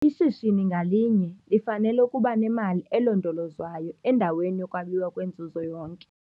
Ishishini ngalinye lifanele ukuba nemali elondolozwayo endaweni yokwabiwa kwenzuzo yonke.